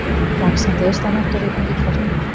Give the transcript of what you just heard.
Vaxandi austanátt og rigning í kortunum